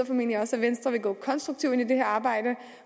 formentlig også at venstre vil gå konstruktivt ind i det her arbejde